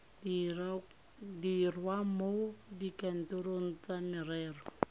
dirwa mo dikantorong tsa merero